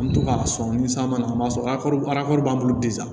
An bɛ to k'a sɔn ni san mana na an b'a sɔrɔ b'an bolo